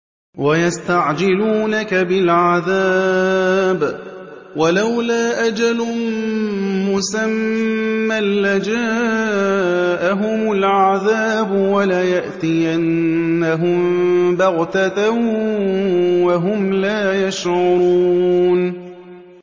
وَيَسْتَعْجِلُونَكَ بِالْعَذَابِ ۚ وَلَوْلَا أَجَلٌ مُّسَمًّى لَّجَاءَهُمُ الْعَذَابُ وَلَيَأْتِيَنَّهُم بَغْتَةً وَهُمْ لَا يَشْعُرُونَ